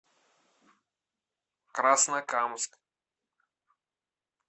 краснокамск